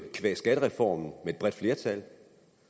skattereformen med et bredt flertal